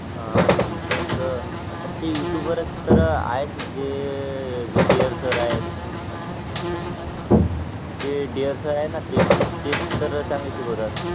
हा टयूशन तर जे सर आहेत ते पण तेच तर चांगले शिकवतात